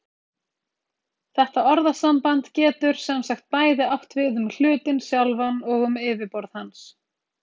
Þetta orðasamband getur sem sagt bæði átt við um hlutinn sjálfan og um yfirborð hans.